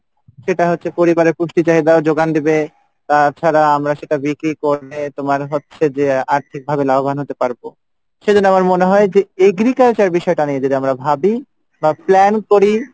যেটা পরিবারে যোগান দেবে তাছাড়া আমরা সব বিক্রি করে তোমার হচ্ছে যে আরেকভাবে লাভবান হব সেজন্য আমার মনে হয় agriculture বিষয়টা নিয়ে যদি আমরা ভাবি plan করি,